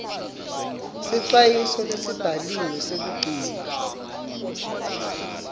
sicwayiso lesibhaliwe sekugcina